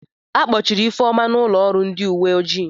A kpọchiri Ifeoma n'ụlọọrụ ndị uwe ojii.